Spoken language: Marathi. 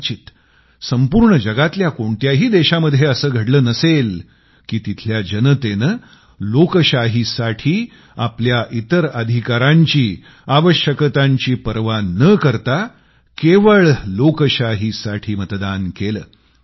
कदाचित संपूर्ण जगामधल्या कोणत्याही देशामध्ये असं घडलं नसेल की तिथल्या जनतेने लोकशाहीसाठी आपल्या इतर अधिकारांची आवश्यकतांची पर्वा न करता केवळ लोकशाहीसाठी मतदान केलं